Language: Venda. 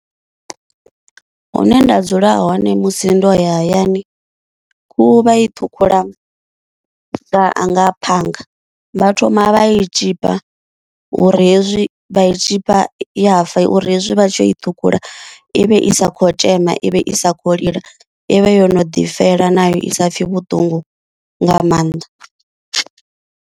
Hune nda dzula hone musi ndo ya hayani khuhu vha i ṱhukhula nga phanga, vha thoma vha i tshipa uri hezwi i vha i tshipa vha ya fa uri hezwi vha tshi yo i ṱhukhula ivhe i sa khou thzema ivhe i sa kho lila ivhe yo no ḓi fela nayo i sa pfe vhuṱungu nga maanḓa.